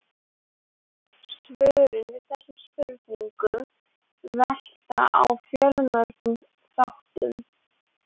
Svörin við þessum spurningum velta á fjölmörgum þáttum.